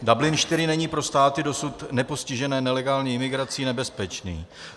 Dublin IV není pro státy dosud nepostižené nelegální imigrací nebezpečný.